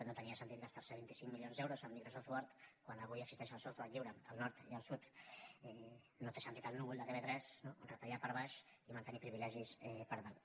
no tenia sentit gastar se vint cinc milions d’euros en microsoft word quan avui existeix el software lliure al nord i al sud no té sentit el núvol de tv3 no retallar per baix i mantenir privilegis per dalt